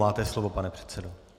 Máte slovo, pane předsedo.